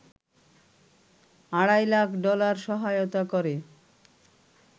আড়াই লাখ ডলার সহায়তা করে